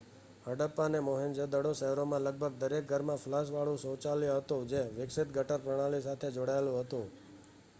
હડપ્પા અને મોહેંજો-દડો શહેરોમાં લગભગ દરેક ઘરમાં ફ્લશવાળું શૌચાલય હતું જે વિકસિત ગટર પ્રણાલી સાથે જોડાયેલું હતું